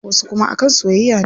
Wasu kuma a kan soyayya ne.